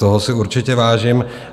Toho si určitě vážím.